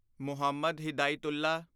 Muhammad Hidayatullah